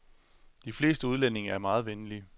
De fleste udlændinge er meget venlige.